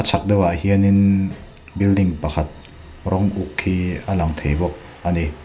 chhak deuh hianin building pakhat rawng uk hi a lang thei bawk ani.